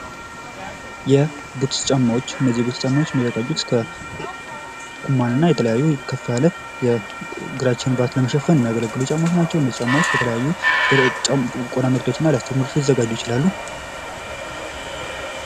የቡትስ ጫማዎች እነዚህ የቡትስ ጫማዎች የሚዘጋጅት ከኩማን እና ከተለያየ ከፍ ካለ የእግራችንን ባት ለመሸፈን የሚያገለግሉ ጫማዎች ናቸው። እነዚህ ጫማዎች ከቆዳ ምርቶችና ላስቲኮች ሊዘጋጁ ይችላሉ።